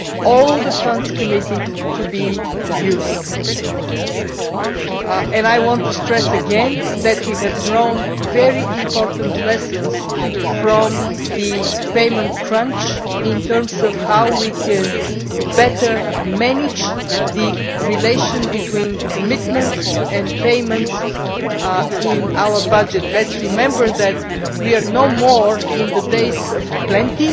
All the funds committed are to be used. I want to stress again that we have drawn very important lessons from the payment crunch in terms of how we can better manage the relationship between commitments and payments in our budget. Let us remember that we are no longer in the days of plenty.